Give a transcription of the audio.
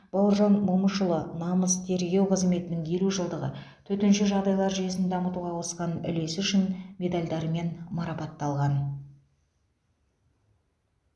бауыржан момышұлы намыс тергеу қызметінің елу жылдығы төтенше жағдайлар жүйесін дамытуға қосқан үлесі үшін медальдарымен мараптталған